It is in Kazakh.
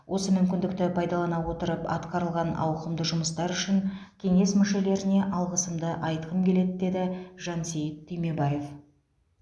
осы мүмкіндікті пайдалана отырып атқарылған ауқымды жұмыстар үшін кеңес мүшелеріне алғысымды айтқым келеді деді жансейіт түймебаев